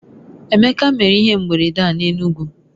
Emeka mere ihe mberede a n'Enugwu